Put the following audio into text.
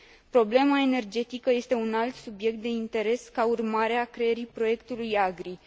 Problema energetică este un alt subiect de interes ca urmare a creării proiectului AGRI.